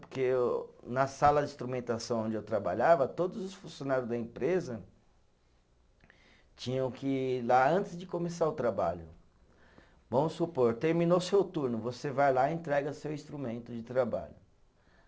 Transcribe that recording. Porque na sala de instrumentação onde eu trabalhava, todos os funcionário da empresa tinham que, lá antes de começar o trabalho, vamos supor, terminou seu turno, você vai lá e entrega seu instrumento de trabalho.